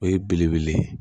O ye belebele ye